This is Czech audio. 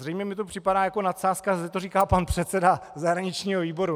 Zřejmě mi to připadá jako nadsázka, že to říká pan předseda zahraničního výboru.